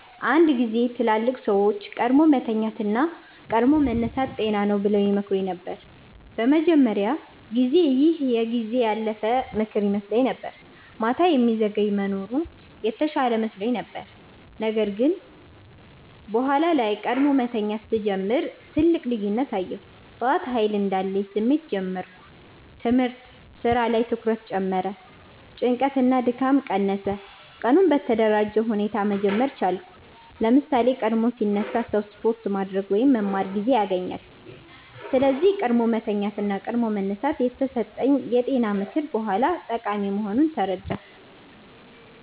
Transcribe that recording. አንድ ጊዜ ትላልቅ ሰዎች “ቀድሞ መተኛት እና ቀድሞ መነሳት ጤና ነው” ብለው ይመክሩኝ ነበር። በመጀመሪያ ጊዜ ይህ የጊዜ ያለፈ ምክር ይመስለኝ ነበር፤ ማታ የሚዘገይ መኖር የተሻለ መስሎኝ ነበር። ነገር ግን በኋላ ላይ ቀድሞ መተኛት ሲጀምር ትልቅ ልዩነት አየሁ። ጠዋት ኃይል እንዳለኝ ስሜት ጀመርሁ ትምህርት/ስራ ላይ ትኩረት ጨመረ ጭንቀት እና ድካም ቀነሰ ቀኑን በተደራጀ ሁኔታ መጀመር ቻልኩ ለምሳሌ፣ ቀድሞ ሲነሳ ሰው ስፖርት ማድረግ ወይም መማር ጊዜ ያገኛል። ስለዚህ “ቀድሞ መተኛት እና ቀድሞ መነሳት” የተሰጠኝ የጤና ምክር በኋላ ጠቃሚ መሆኑን ተረዳሁ።